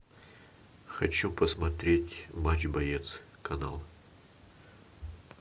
хочу посмотреть матч боец канал